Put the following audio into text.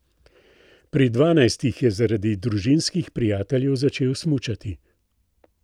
Pri dvanajstih je zaradi družinskih prijateljev začel smučati.